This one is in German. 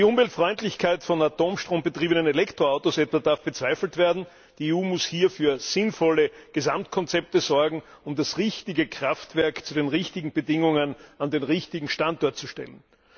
Die Umweltfreundlichkeit von mit Atomstrom betriebenen Elektroautos darf zum Beispiel bezweifelt werden. Die EU muss hier für sinnvolle Gesamtkonzepte sorgen, um das richtige Kraftwerk zu den richtigen Bedingungen an den richtigen Standort zu stellen.